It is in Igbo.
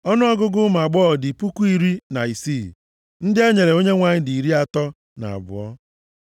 Ọnụọgụgụ ụmụ agbọghọ dị puku iri na isii (16,000). Ndị e nyere Onyenwe anyị dị iri atọ na abụọ (32).